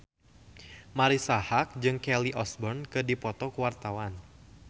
Marisa Haque jeung Kelly Osbourne keur dipoto ku wartawan